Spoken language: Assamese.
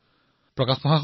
যি কথা দেশে আজি জানে